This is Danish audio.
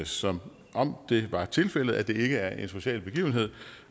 som om det var tilfældet at det ikke er en social begivenhed